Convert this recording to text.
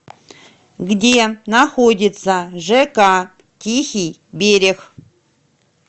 где находится жк тихий берег